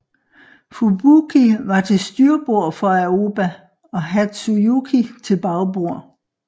Fubuki var til styrbord for Aoba og Hatsuyuki til bagbord